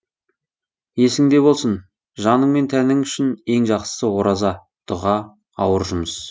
есіңде болсын жаның мен тәнің үшін ең жақсысы ораза дұға ауыр жұмыс